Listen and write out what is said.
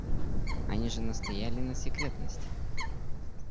они же настояли на секретности